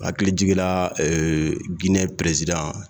Hakili jiginra Ginɛ presidan !